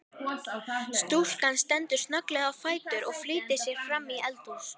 Stúlkan stendur snögglega á fætur og flýtir sér framí eldhús.